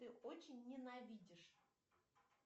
ты очень ненавидишь